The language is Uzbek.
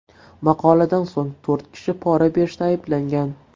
Maqoladan so‘ng, to‘rt kishi pora berishda ayblangan .